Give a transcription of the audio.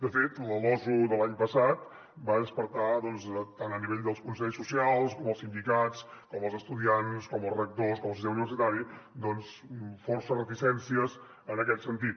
de fet la losu de l’any passat va despertar tant a nivell dels consells socials com dels sindicats com dels estudiants com dels rectors com del sistema universitari força reticències en aquest sentit